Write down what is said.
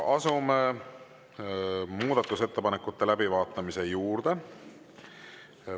Asume muudatusettepanekute läbivaatamise juurde.